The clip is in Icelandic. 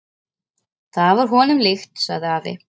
Það var honum líkt, sagði afi.